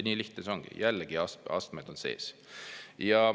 Nii lihtne see ongi, jällegi, astmed on sees.